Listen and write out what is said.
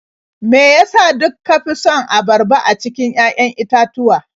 Me ya sa duk ka fi son abarba a cikin 'ya'yan itatuwa?